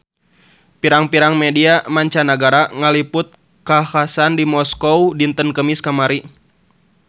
Pirang-pirang media mancanagara ngaliput kakhasan di Moskow dinten Kemis kamari